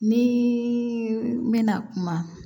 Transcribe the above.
Ni bɛna kuma